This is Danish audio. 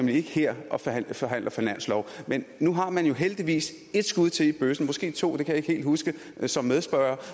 her og forhandler forhandler finanslov men nu har man jo heldigvis et skud til i bøssen måske to det kan jeg ikke helt huske som medspørger